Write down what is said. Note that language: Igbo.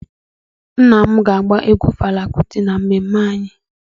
Nna m ga-agba egwu Fela Kuti na mmemme anyị.